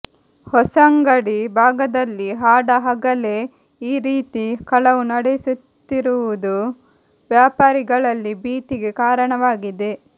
ಹೊಸಂಗಡಿ ಭಾಗದಲ್ಲಿ ಹಾಡಹಗಲೇ ಈ ರೀತಿ ಕಳವು ನಡೆಸುತ್ತಿರುವುದು ವ್ಯಾಪಾರಿಗಳಲ್ಲಿ ಭೀತಿಗೆ ಕಾರಣವಾಗಿದೆ